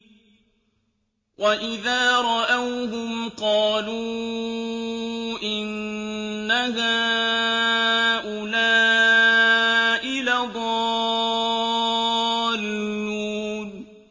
وَإِذَا رَأَوْهُمْ قَالُوا إِنَّ هَٰؤُلَاءِ لَضَالُّونَ